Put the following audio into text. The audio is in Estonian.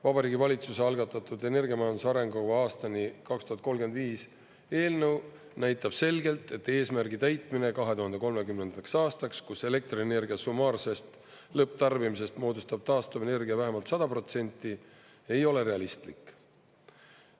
Vabariigi Valitsuse algatatud energiamajanduse arengukava aastani 2035 eelnõu näitab selgelt, et eesmärgi täitmine 2030. aastaks, kus elektrienergia summaarsest lõpptarbimisest moodustab taastuvenergia vähemalt 100%, ei ole realistlik.